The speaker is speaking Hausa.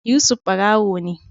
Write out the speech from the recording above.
Yusuf barawo ne